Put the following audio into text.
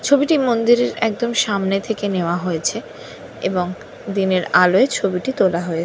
ছবিটি মন্দিরের একদম সামনে থেকে নেয়া হয়েছে এবং দিনের আলোয় ছবিটি তোলা হয়ে--